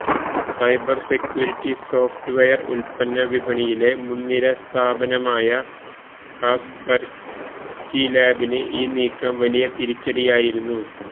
cyber security software ഉല്പ്പന്ന വിപണിയിലെ മുന്നിര സ്ഥാപനമായ കാസ്പര്സ്കീ ലാബിന് ഈ നീക്കം വലിയ തിരിച്ചടിയായിരുന്നു